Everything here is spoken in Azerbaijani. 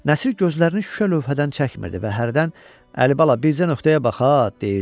Nəsir gözlərini şüşə lövhədən çəkmirdi və hərdən Əlibala bircə nöqtəyə baxa, deyirdi.